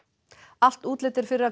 allt útlit er fyrir að